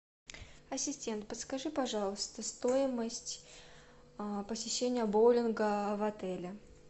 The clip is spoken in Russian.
ассистент подскажи пожалуйста стоимость посещения боулинга в отеле